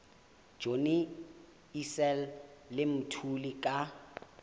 johnny issel le mthuli ka